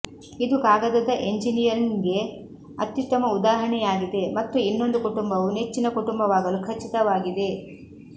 ಇದು ಕಾಗದದ ಎಂಜಿನಿಯರಿಂಗ್ಗೆ ಅತ್ಯುತ್ತಮ ಉದಾಹರಣೆಯಾಗಿದೆ ಮತ್ತು ಇನ್ನೊಂದು ಕುಟುಂಬವು ನೆಚ್ಚಿನ ಕುಟುಂಬವಾಗಲು ಖಚಿತವಾಗಿದೆ